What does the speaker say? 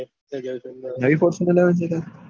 નયી Fortuner લાવાની છે કાલ